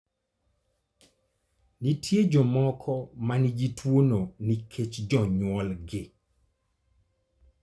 Nitie jomoko ma nigi tuwono nikech jonyuolgi.